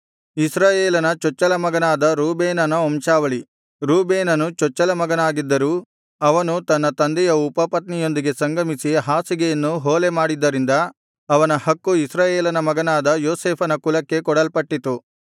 ಇಸ್ರಾಯೇಲನ ಚೊಚ್ಚಲ ಮಗನಾದ ರೂಬೇನನ ವಂಶಾವಳಿ ರೂಬೇನನು ಚೊಚ್ಚಲ ಮಗನಾಗಿದ್ದರೂ ಅವನು ತನ್ನ ತಂದೆಯ ಉಪಪತ್ನಿಯೊಂದಿಗೆ ಸಂಗಮಿಸಿ ಹಾಸಿಗೆಯನ್ನು ಹೊಲೆ ಮಾಡಿದ್ದರಿಂದ ಅವನ ಹಕ್ಕು ಇಸ್ರಾಯೇಲನ ಮಗನಾದ ಯೋಸೇಫನ ಕುಲಕ್ಕೆ ಕೊಡಲ್ಪಟ್ಟಿತು